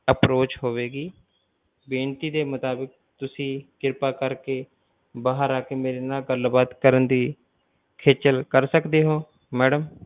Approch ਹੋਵੇਗੀ ਬੇਨਤੀ ਦੇ ਮੁਤਾਬਿਕ ਤੁਸੀਂ ਕਿਰਪਾ ਕਰਕੇ ਬਾਹਰ ਆਕੇ ਮੇਰੇ ਨਾਲ ਗੱਲ ਬਾਤ ਕਰਨ ਦੀ ਖੇਚਲ ਕਰ ਸਕਦੇ ਹੋ madam